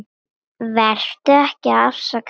Vertu ekki að afsaka þig.